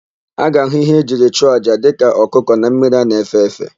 A ga-ahụ íhé e jiri chụọ àjà dịka ọkụkọ na mmiri a na-efe efe.